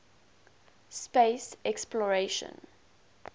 space exploration